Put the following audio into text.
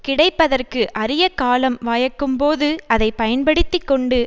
கிடைப்பதற்கு அரிய காலம் வாயக்கும்போது அதை பயன்படுத்தி கொண்டு